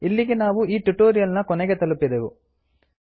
ಇಲ್ಲಿಗೆ ನಾವು ಈ ಟ್ಯುಟೋರಿಯಲ್ ನ ಕೊನೆಗೆ ತಲುಪಿದೆವು